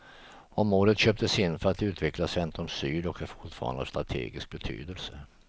Området köptes in för att utveckla centrum syd och är fortfarande av strategisk betydelse.